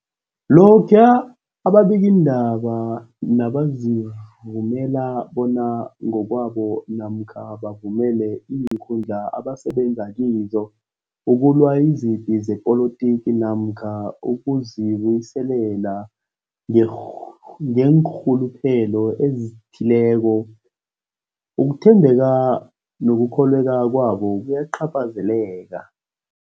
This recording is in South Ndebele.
Lokhuya ababikiindaba nabazivumela bona ngokwabo namkha bavumele iinkundla abasebenza kizo ukulwa izipi zepolitiki namkha ukuzi buyiselela ngeenrh ngeenrhuluphelo ezithileko, ukuthembeka nokukholweka kwabo kuyacaphazeleka.